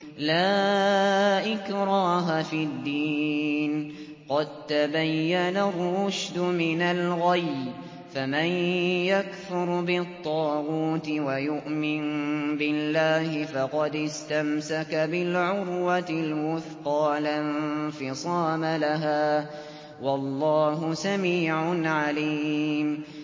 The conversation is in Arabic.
لَا إِكْرَاهَ فِي الدِّينِ ۖ قَد تَّبَيَّنَ الرُّشْدُ مِنَ الْغَيِّ ۚ فَمَن يَكْفُرْ بِالطَّاغُوتِ وَيُؤْمِن بِاللَّهِ فَقَدِ اسْتَمْسَكَ بِالْعُرْوَةِ الْوُثْقَىٰ لَا انفِصَامَ لَهَا ۗ وَاللَّهُ سَمِيعٌ عَلِيمٌ